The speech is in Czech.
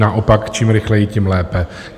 Naopak, čím rychleji, tím lépe.